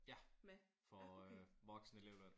Ja. Får voksenelevløn